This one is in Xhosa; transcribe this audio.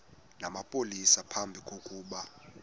namapolisa phambi kokuba